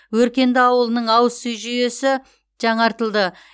өркенді ауылының ауыз сүй жүйесі жаңартылды